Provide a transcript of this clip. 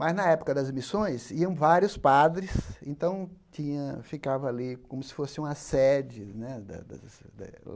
Mas, na época das missões, iam vários padres, então tinha ficava ali como se fosse uma sede né da da da.